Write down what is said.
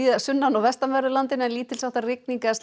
sunnan og vestanverðu landinu en lítils háttar rigning eða